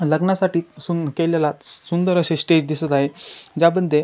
लग्नासाठी सुं केलेला सुंदर अशे स्टेज दिसत आहे ज्यामंधे --